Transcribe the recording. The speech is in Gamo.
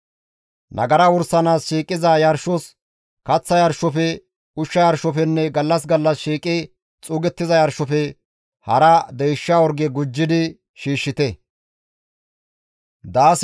Nagara wursanaas shiiqiza yarshos, kaththa yarshofe, ushsha yarshofenne gallas gallas shiiqi xuugettiza yarshofe hara deysha orge gujjidi shiishshite.